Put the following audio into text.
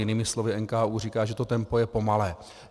Jinými slovy NKÚ říká, že to tempo je pomalé.